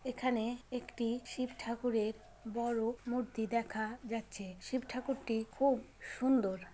এখানে-এ একটি-ই শিব ঠাকুরের বড়ো মূর্তি দেখা-আ যাচ্ছে-এ । শিব ঠাকুর টি খুউব সুন্দর।